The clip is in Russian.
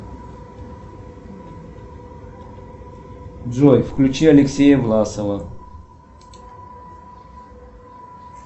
джой включи алексея власова